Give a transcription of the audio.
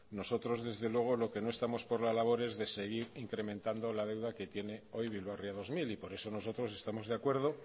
nosotros desde luego lo que no estamos por la labor es de seguir incrementando la deuda que tiene hoy bilbao ría dos mil y por eso nosotros estamos de acuerdo